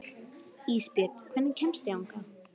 Ísbjörn, hvernig kemst ég þangað?